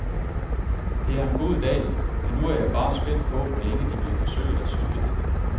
Det er en god dag, men nu er jeg bare spændt på, hvor længe de vil forsøge at sylte det.